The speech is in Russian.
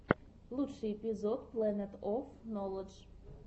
лучший эпизод плэнет оф ноладж